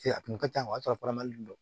A kun ka ca o y'a sɔrɔ do